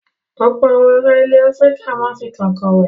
Ọ̀pọ̀ àwọn ará ilẹ̀ Áfíríkà máa ń fi kànkàn wẹ̀.